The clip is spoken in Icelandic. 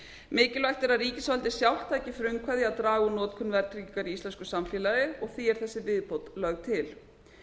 mikilvægt er að ríkisvaldið sjálft taki frumkvæði að því að draga úr notkun verðtryggingar í íslensku samfélagi og því er þessi viðbót lögð til